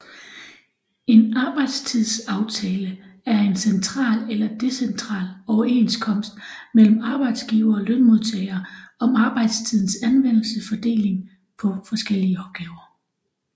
En arbejdstidsaftale er en central eller decentral overenskomst mellem arbejdsgivere og lønmodtagere om arbejdstidens anvendelse og fordeling på forskellige opgaver